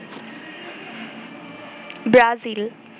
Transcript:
Brazil